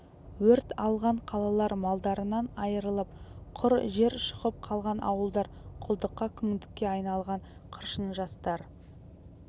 өрт алған қалалар малдарынан айрылып құр жер шұқып қалған ауылдар құлдыққа күңдікке айдалған қыршын жастар